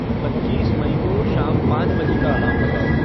पच्चीस मई को शाम पाँच बजे का अलार्म लगाओ